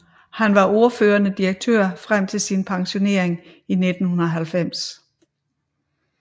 Han var ordførende direktør frem til sin pensionering i 1990